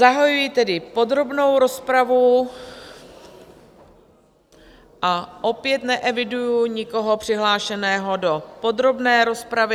Zahajuji tedy podrobnou rozpravu a opět neeviduji nikoho přihlášeného do podrobné rozpravy.